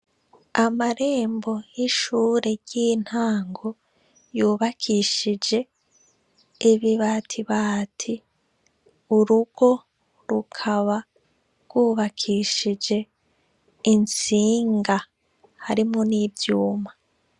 Amarembo y'ishure ry'intango yubakishije ibibatibati. Urugo rukaba rwubakishije intsinga harimwo n'ivyuma.